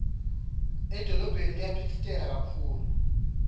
edolobheni kuyaphitsitela kakhulu